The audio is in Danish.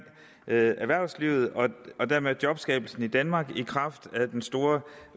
erhvervslivet og dermed jobskabelsen i danmark i kraft af den store